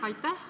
Aitäh!